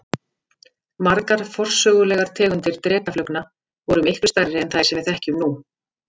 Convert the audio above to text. Margar forsögulegar tegundir drekaflugna voru miklu stærri en þær sem við þekkjum nú.